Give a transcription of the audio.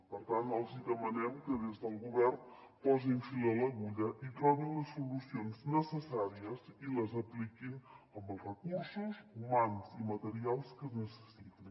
per tant els hi demanem que des del govern posin fil a l’agulla i trobin les solucions necessàries i les apliquin amb els recursos humans i materials que es necessitin